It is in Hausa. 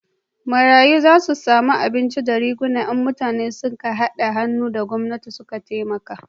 Marayu za su samu abinci da riguna in mutane su ka hada hannu da gwamnati su taimaka